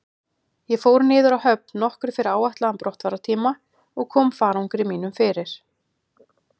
Ég fór niður að höfn nokkru fyrir áætlaðan brottfarartíma og kom farangri mínum fyrir.